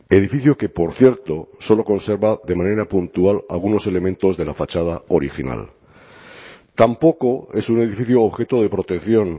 edificio que por cierto solo conserva de manera puntual algunos elementos de la fachada original tampoco es un edificio objeto de protección